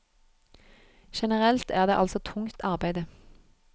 Generelt er det altså tungt arbeide.